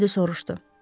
Keneddi soruşdu.